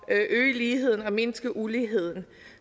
at øge ligheden og mindske uligheden